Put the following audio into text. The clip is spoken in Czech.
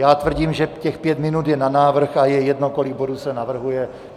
Já tvrdím, že těch pět minut je na návrh, a je jedno, kolik bodů se navrhuje.